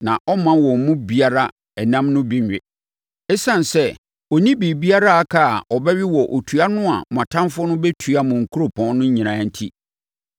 na ɔremma wɔn mu biara ɛnam no bi nwe. Esiane sɛ, ɔnni biribi a aka a ɔbɛwe wɔ otua no a mo atamfoɔ no bɛtua mo nkuropɔn no nyinaa enti.